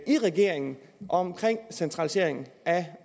i regeringen om centralisering af